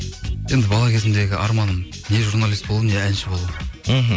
енді бала кезімдегі арманым не журналист болу не әнші болу мхм